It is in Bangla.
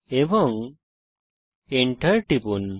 এবং এন্টার টিপুন